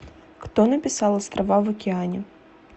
кто написал острова в океане